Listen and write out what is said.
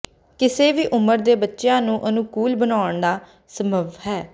ਕਿਸੇ ਵੀ ਉਮਰ ਦੇ ਬੱਚਿਆਂ ਨੂੰ ਅਨੁਕੂਲ ਬਣਾਉਣਾ ਸੰਭਵ ਹੈ